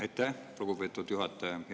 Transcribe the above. Aitäh, lugupeetud juhataja!